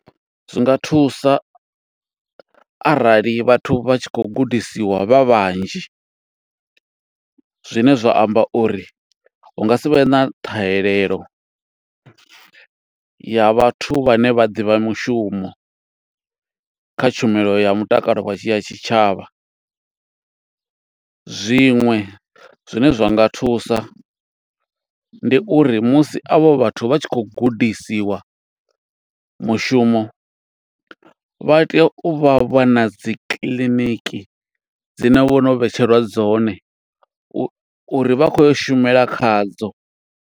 Zwinga thusa arali vhathu vha tshi khou gudisiwa vha vhanzhi, zwine zwa amba uri hunga sivhe na ṱhahelelo ya vhathu vhane vha ḓivha mushumo, kha tshumelo ya mutakalo wa tshi ya tshitshavha. Zwiṅwe zwine zwa nga thusa, ndi uri musi a vho vhathu vha tshi khou gudisiwa mushumo, vha tea u vha vha na dzi kiḽiniki dzine vhono vhetshelwa dzone, u uri vha khou ya u shumela khadzo.